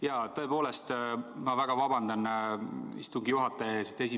Jaa, tõepoolest, ma väga vabandan istungi juhataja ees!